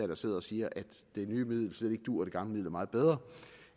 der sidder og siger at det nye middel slet ikke duer og det gamle er meget bedre